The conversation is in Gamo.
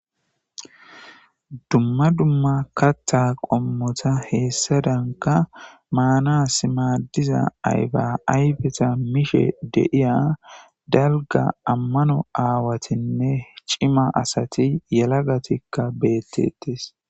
Dumma dumma kattha qommota heessadanka maanasimaaddiza ayba aybeta mishe deiya dalga ammano aawatinne cima asati yala gatikka beettettis.